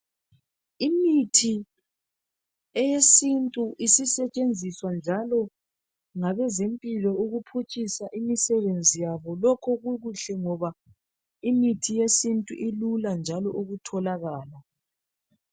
Imithi eyesintu isisetshenziswa njalo ngabezempilo ukuphutshisa imisebenzi yabo lokhu kukuhle ngoba imithi yesintu ilula njalo ukutholakala